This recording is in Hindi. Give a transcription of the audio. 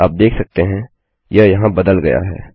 आप देख सकते हैं यह यहाँ बदल गया है